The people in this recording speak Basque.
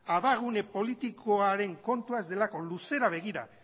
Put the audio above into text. abagune politikoaren kontua ez delako luzera begira